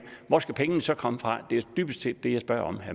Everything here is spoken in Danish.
hvor skal pengene så komme fra det er dybest set det jeg spørger